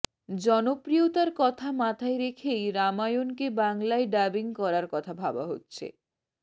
জনপ্রিয়তার কথা মাথায় রেখেই রামায়ণকে বাংলায় ডাবিং করার কথা ভাবা হচ্ছে